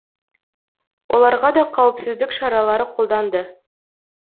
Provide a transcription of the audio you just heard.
оларға да қауіпсіздік шаралары қолданды